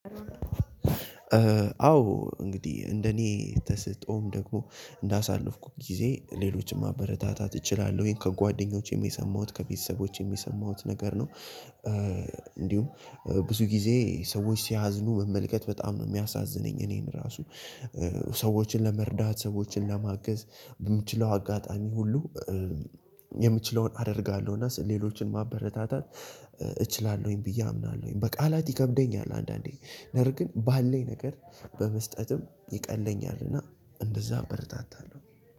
አዎ እንግዲህ እንደ እኔ ተስጥኦም ደግሞ እንደ አሳለፍኩት ጊዜ ሌሎችን ማበረታታት እችላለሁኝ ከጓደኞቼም የሰማሁት ከቤተሰቦቼም የሰማሁት ነገር ነው። እንዲሁም ብዙ ጊዜ ሰዎች ሲያዝኑ መመልከት በጣም ነው የሚያሳዝነኝ። እኔን እራሱ ሰዎችን ለመርዳት ሰዎችን ለማገዝ በምችለው አጋጣሚ ሁሉ። የምችለውን አደርጋለሁ እና ሌሎችን ማበረታታት እችላለሁኝ ብዬ አምናለሁኝ በቃላት ይከብደኛል። አንዳንዴ ነገር ግን ባለኝ ነገር በመስጠትም ይቀለኛልና እንደዛ አበረታታለሁ።